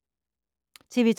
TV 2